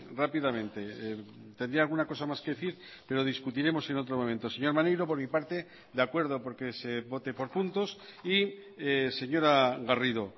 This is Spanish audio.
rápidamente tendría alguna cosa más que decir pero discutiremos en otro momento señor maneiro por mi parte de acuerdo porque se vote por puntos y señora garrido